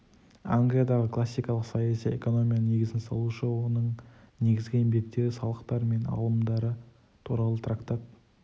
англиядағы классикалық саяси экономияның негізін салушы оның негізгі еңбектері салықтар мен алымдар туралы трактат